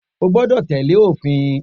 O gbọ́dọ̀ tẹ́lẹ̀ òfin